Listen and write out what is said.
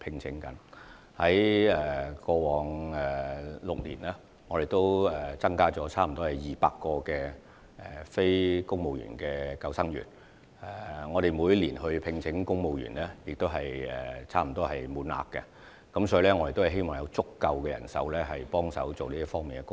在過往6年，我們增加了近200名非公務員救生員，而在每年公務員救生員招聘中，我們聘請到的人手也是接近滿額的。